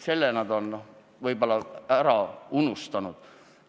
Selle nad on vahel ära unustanud.